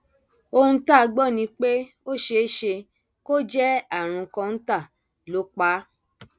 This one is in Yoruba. ohun tá a gbọ ni pé ó ṣeé ṣe kó jẹ àrùn kọńtà ló pa á